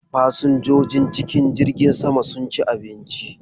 Fasinjojin cikin jirgin sama sun ci abinci da safe.